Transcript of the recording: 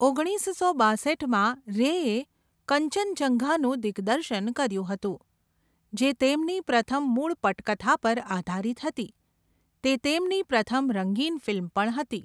ઓગણીસસો બાસઠમાં રેએ કંચનજંઘાનું દિગ્દર્શન કર્યું હતું, જે તેમની પ્રથમ મૂળ પટકથા પર આધારિત હતી, તે તેમની પ્રથમ રંગીન ફિલ્મ પણ હતી.